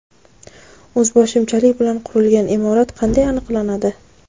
O‘zboshimchalik bilan qurilgan imorat qanday aniqlanadi?.